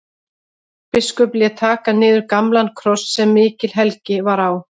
Biskup lét taka niður gamlan kross sem mikil helgi var á.